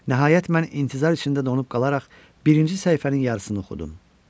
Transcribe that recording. Nəhayət, mən intizar içində donub qalaraq birinci səhifənin yarısını oxudum.